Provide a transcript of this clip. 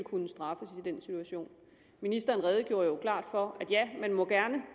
kunne straffes i den situation ministeren redegjorde jo klart for at man gerne